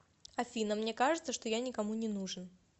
афина мне кажется что я никому не нужен